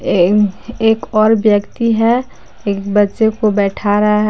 एक और व्यक्ति है एक बच्चे को बैठा रहा है।